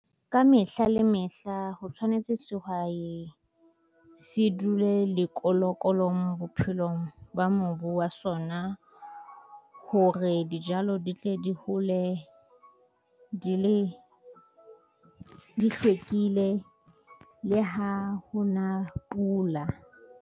Ka mehla le mehla ho tshwanetse sehwai se dule le koloi sekolong bophelong ba mobu wa sona. Hore re dijalo di tle di hole, di le di hlwekile le ha ho na pula.